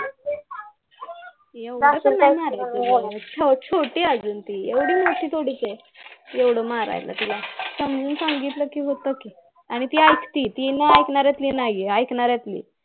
एवढं कशाला मारायचं छोटी आहे अगं ती एवढी मोठी थोडीच आहे एवढं मारायला तिला समजावून सांगितलं कि होतं कि आणि ती ऐकती ती नाही ऐकानार्यातील नाही आहे ऐकानार्यातील आहे